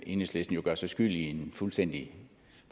enhedslisten gør sig skyld i en fuldstændig